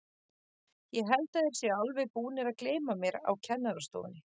Ég held þeir séu alveg búnir að gleyma mér á kennarastofunni.